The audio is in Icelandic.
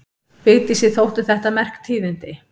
Vigdísi þóttu þetta merk tíðindi.